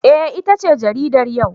Eh, itace jaridar yau.